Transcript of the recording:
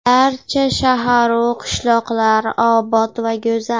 Barcha shaharu qishloqlar obod va go‘zal.